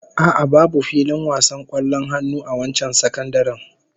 A'a, babu filin wasan kwallon hannu a wancan sakandaren